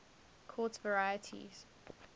quartz varieties